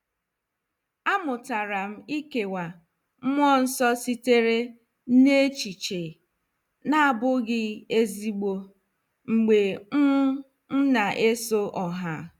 A mụtara m ikewa mmụọ nsọ sitere n echiche na abụghị ezigbo mgbe m m na-eso ọha.